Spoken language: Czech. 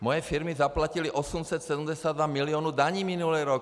Moje firmy zaplatily 872 mil. daní minulý rok.